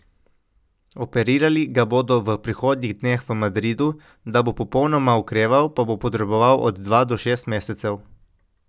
Operirali ga bodo v prihodnjih dneh v Madridu, da bo popolnoma okreval, pa bo potreboval od dva do šest mesecev.